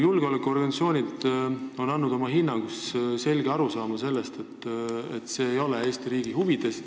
Julgeolekuorganisatsioonid on oma hinnangus edastanud selge arusaama, et see kõik ei ole Eesti riigi huvides.